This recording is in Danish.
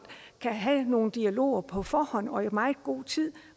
have nogen dialoger på forhånd og i meget god tid